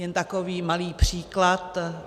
Jen takový malý příklad.